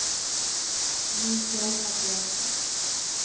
Mikael Gabrielsson